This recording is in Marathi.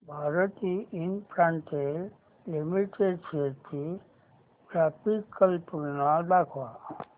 भारती इन्फ्राटेल लिमिटेड शेअर्स ची ग्राफिकल तुलना दाखव